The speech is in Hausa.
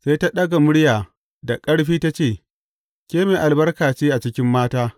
Sai ta ɗaga murya da ƙarfi ta ce, Ke mai albarka ce a cikin mata.